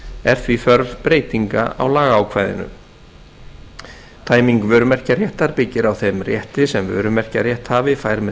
er því þörf breytinga á lagaákvæðinu tæming vörumerkjaréttar byggir á þeim rétti sem vörumerkjarétthafi fær með